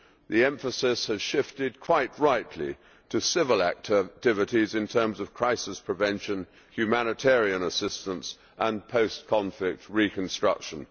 The emphasis has shifted quite rightly to civil activities in terms of crisis prevention, humanitarian assistance and post conflict reconstruction.